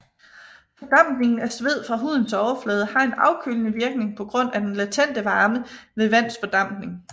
Fordampningen af sved fra hudens overflade har en afkølende virkning på grund af den latente varme ved vands fordampning